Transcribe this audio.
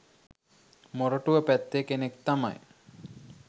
මොරටුව පැත්තේ කෙනෙක් තමයි